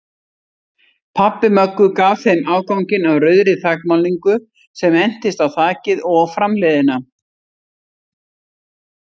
Pabbi Möggu gaf þeim afganginn af rauðri þakmálningu sem entist á þakið og framhliðina.